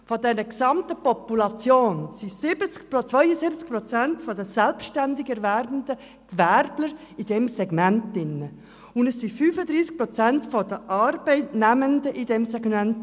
Von dieser gesamten Population sind 72 Prozent der selbstständigerwerbenden Gewerbler in diesem Segment, und es sind 35 Prozent der Arbeitsnehmenden in diesem Segment.